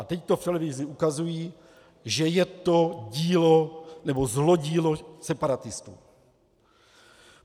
A teď to v televizi ukazují, že je to dílo, nebo zlodílo separatistů.